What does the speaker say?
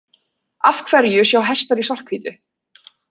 Af hverju sjá hestar í svart-hvítu?